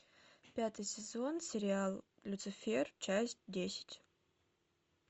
пятый сезон сериал люцифер часть десять